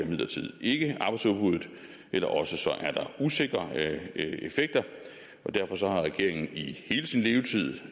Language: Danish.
imidlertid ikke arbejdsudbuddet eller også er der usikre effekter og derfor har regeringen i hele sin levetid